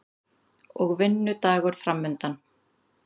Og vinnudagur framundan.